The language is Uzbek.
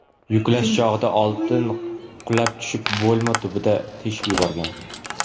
Yuklash chog‘ida oltin qulab tushib, bo‘lma tubini teshib yuborgan.